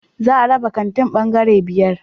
Za a raba kantin bangare biyar